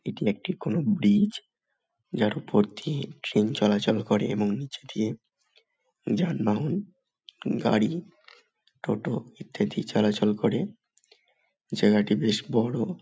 এটি একটি কোনো ব্রিজ । যার উপর দিয়ে ট্রেন চলা চল করে এবং নীচ দিয়ে যানবাহন গাড়ি টোটো ইত্যাদি চলাচল করে জায়গাটি বেশ বড়।